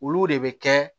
Olu de bɛ kɛ